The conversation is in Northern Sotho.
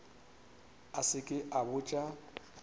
a se ke a botša